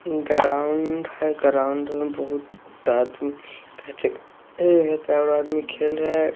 Ground है ground में बहुत आदमी खेल रहे है।